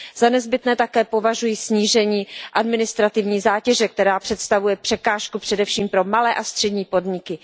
Za nezbytné také považuji snížení administrativní zátěže, která představuje překážku především pro malé a střední podniky.